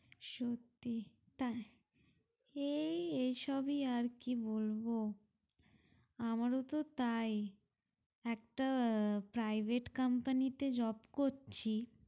সত্যি তাই এই এসবই আর কি বলবো আমারও তো তাই একটা আহ private company তে job করছি।